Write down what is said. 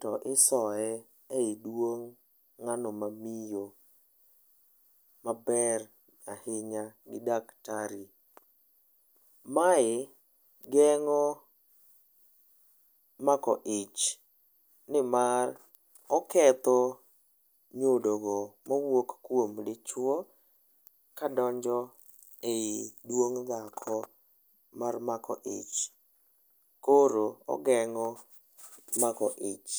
to isoye eiduong' ng'ano mamiyo maber ahinya gi daktari. Mae geng'o mako ich nimar oketho nyodogo mawuok kuom dichuo kadonjo ei duong' dhako mar mako ich. Koro ogeng'o mako ich.